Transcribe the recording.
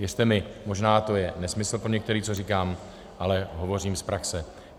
Věřte mi, možná to je nesmysl pro některé, co říkám, ale hovořím z praxe.